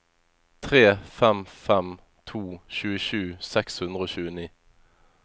tre fem fem to tjuesju seks hundre og tjueni